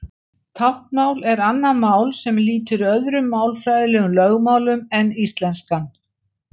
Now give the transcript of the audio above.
Táknmál er annað mál sem lýtur öðrum málfræðilegum lögmálum en íslenskan.